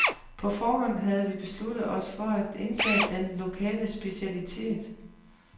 På forhånd havde vi besluttet os for at indtage den lokale specialitet.